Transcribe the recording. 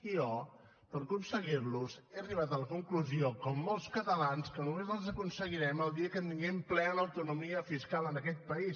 i jo per aconseguir los he arribat a la conclusió com molts catalans que només els aconseguirem el dia que tinguem plena autonomia fiscal en aquest país